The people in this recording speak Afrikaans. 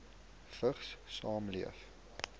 vigs saamleef